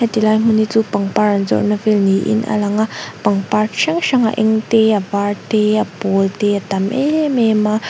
he ti lai hmun hi chu pangpar an zawrhna vel niin a lang a pangpar chi hrang hrang a eng te a var te a pawl te a tam em em a.